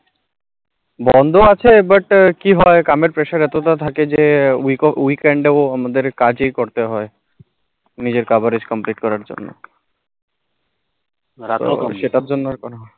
বন্ধ আছে but কি হয় কামে pressure এতোতা থাকে যে week weekend এ ও কাজে করতে হয় নিজের coverage complete করার জন্য